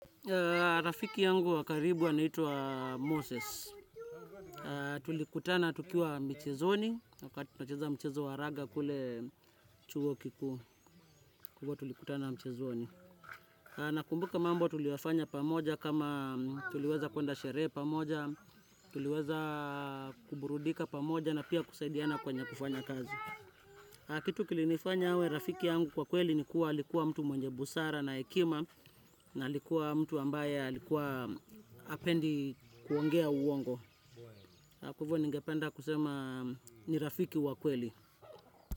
Rafiki yangu wakaribu anaitwa Moses. Tulikutana tukiwa michezoni, wakati tunacheza mchizu wa raga kule chuo kikuu. Tulikuwa tulikutana mchezoni. Nakumbuka mambo tuliyoyafanya pamoja kama tuliweza kwenda sherehe pamoja, tuliweza kuburudika pamoja na pia kusaidiana kwenye kufanya kazi. Kitu kilinifanya awe rafiki yangu kwa kweli ni kuwa alikuwa mtu mwenye busara na hekima. Na alikuwa mtu ambaye alikuwa hapendi kuongea uwongo. Hivyo ningependa kusema ni rafiki wa kweli.